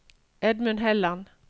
Edmund Helland